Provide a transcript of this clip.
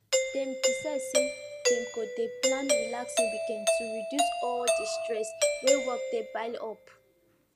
dem decide say dem go dey plan relaxing weekend to reduce all the stress wey work dey pile up